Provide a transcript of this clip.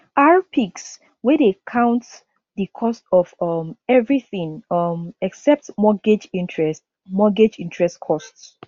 rpix wey dey count di cost of um everything um except mortgage interest mortgage interest costs